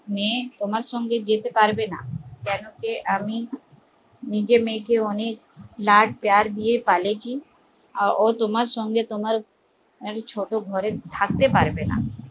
মেয়ে তোমার সঙ্গে যেতে পারবেনা কেন কি আমি নিজের মেয়েকে অনেক লাড প্যার দিয়ে পালিছি ও তোমার সঙ্গে তোমার ছোট ঘরে থাকতে পারবেনা